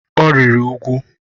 Ọ rịrị úgwù.